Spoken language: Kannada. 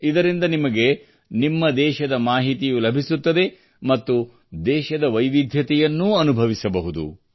ಇದರಿಂದ ನಿಮಗೆ ನಿಮ್ಮ ದೇಶದ ಮಾಹಿತಿಯೂ ಲಭಿಸುತ್ತದೆ ಮತ್ತು ದೇಶದ ವಿವಿಧತೆಯನ್ನೂ ಅನುಭವಿಸಬಹುದು